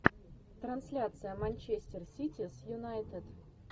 трансляция манчестер сити с юнайтед